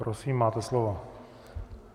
Prosím, máte slovo.